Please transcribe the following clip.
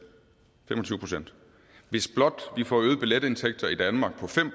hvis blot vi får øgede billetindtægter i danmark på fem